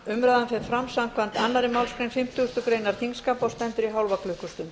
umræðan fer fram samkvæmt annarri málsgrein fimmtugustu grein þingskapa og stendur í hálfa klukkustund